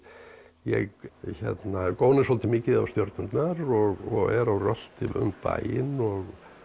ég góni svolítið mikið á stjörnurnar og er á rölti um bæinn og